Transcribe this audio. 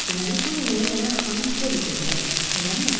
Deməli bu yeməyi mənə xanım Polly göndərib, eləmi?